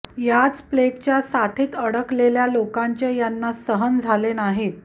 याच प्लेगाच्या साथीत अडकलेल्या लोकांचे यांना सहन झाले नाहीत